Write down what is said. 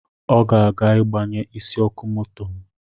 Ọ ga-aga igbanye isi ọkụ moto m